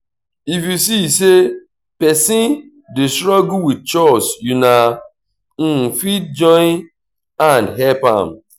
if you see sey person dey struggle with chores una fit join hand help am